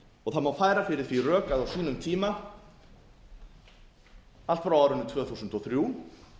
og það má færa fyrir því rök að á sínum tíma allt frá árinu tvö þúsund og þrjú